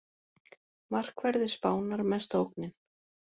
Markverðir Spánar mesta ógnin